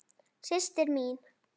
Systir mín?